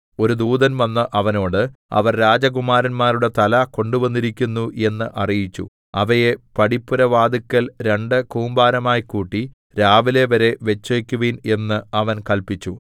ഒരു ദൂതൻ വന്ന് അവനോട് അവർ രാജകുമാരന്മാരുടെ തല കൊണ്ടുവന്നിരിക്കുന്നു എന്ന് അറിയിച്ചു അവയെ പടിപ്പുരവാതില്ക്കൽ രണ്ടു കൂമ്പാരമായി കൂട്ടി രാവിലെവരെ വച്ചേക്കുവിൻ എന്ന് അവൻ കല്പിച്ചു